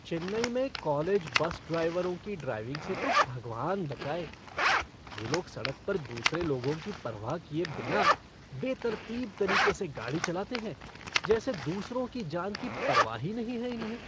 चेन्नई में college bus ड्राइवरों की ड्राइविंग से तो भगवान बचाए। ये लोग सड़क पर दूसरे लोगों की परवाह किए बिना बेतरतीब तरीके से गाड़ी चलाते हैं, जैसे दूसरों की जान की परवाह ही नहीं है इन्हें।